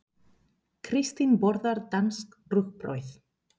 Kristín borðar danskt rúgbrauð.